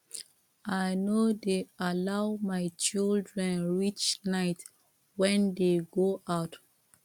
i no dey allow my children reach night when dey go out